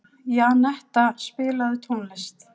Janetta, spilaðu tónlist.